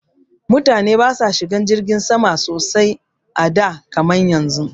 Mutane ba sa shiga jirgin sama sosai a da kaman yanzu